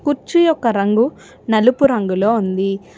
కుర్చీ యొక్క రంగు నలుపు రంగులో ఉంది.